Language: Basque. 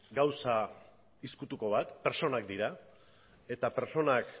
gauza ezkutuko bat pertsonak dira eta pertsonak